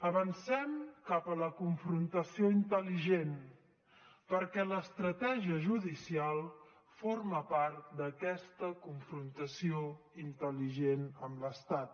avancem cap a la confrontació intel·ligent perquè l’estratègia judicial forma part d’aquesta confrontació intel·ligent amb l’estat